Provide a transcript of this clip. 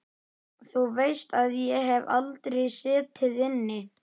Þú veist að ég hef aldrei setið inni.